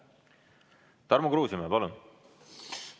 Tarmo Kruusimäe, palun!